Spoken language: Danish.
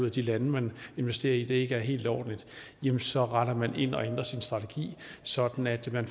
at de lande man investerer i ikke er helt ordentlige jamen så retter man ind og ændrer sin strategi sådan at man